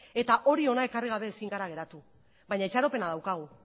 eta hori hona ekarri gabe ezin gera geratu baina itxaropena daukagu